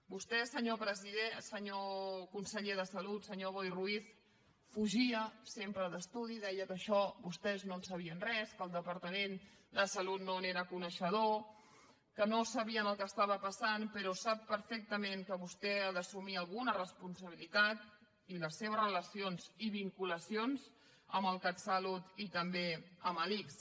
vostè senyor conseller de salut senyor boi ruiz fugia sempre d’estudi deia que d’això vostès no en sabien res que el departament de salut no n’era coneixedor que no sabien el que estava passant però sap perfectament que vostè ha d’assumir alguna responsabilitat i les seves relacions i vinculacions amb el catsalut i també amb l’ics